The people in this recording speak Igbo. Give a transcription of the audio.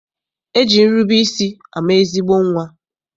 E ji nrube isi ama ezigbo nnwa.